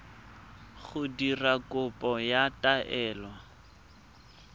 go dira kopo ya taelo